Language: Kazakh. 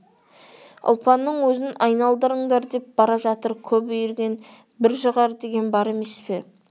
ұлпанның өзін айналдырыңдар деп бара жатыр көп үйірген бір жығар деген бар емес пе